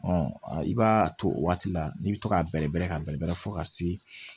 i b'a to o waati la n'i bɛ to k'a bɛrɛbɛrɛ ka bɛrɛ fɔ ka se